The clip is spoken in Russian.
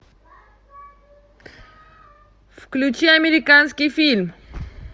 включи американский фильм